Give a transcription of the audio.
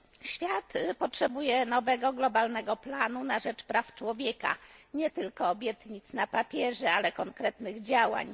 Świat potrzebuje nowego globalnego planu na rzecz praw człowieka, nie tylko obietnic na papierze, ale konkretnych działań.